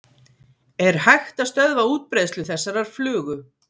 Er hægt að stöðva útbreiðslu þessarar flugu?